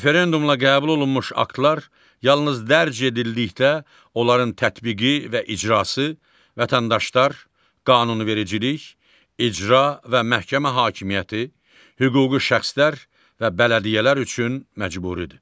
Referendumla qəbul olunmuş aktlar yalnız dərc edildikdə onların tətbiqi və icrası vətəndaşlar, qanunvericilik, icra və məhkəmə hakimiyyəti, hüquqi şəxslər və bələdiyyələr üçün məcburidir.